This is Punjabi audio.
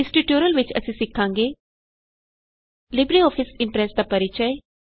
ਇਸ ਟਯੂਟੋਰੀਅਲ ਵਿਚ ਅਸੀਂ ਸਿਖਾਂਗੇ ਲਿਬਰੇਆਫਿਸ ਕੈਲਕ ਇਮਪ੍ਰੈਸ ਦਾ ਪਰਿਚੈ